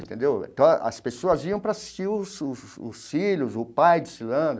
Entendeu então, as pessoas iam para assistir os os os filhos, o pai desfilando.